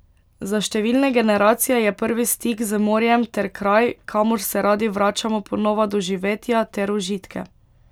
Za številne generacije je prvi stik z morjem ter kraj, kamor se radi vračamo po nova doživetja ter užitke.